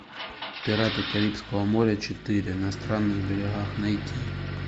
пираты карибского моря четыре на странных берегах найти